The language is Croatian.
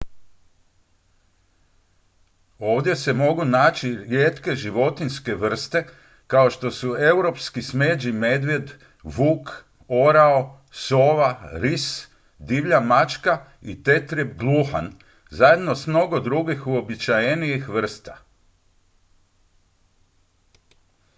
ovdje se mogu naći rijetke životinjske vrste kao što su europski smeđi medvjed vuk orao sova ris divlja mačka i tetrijeb gluhan zajedno s mnogo drugih uobičajenijih vrsta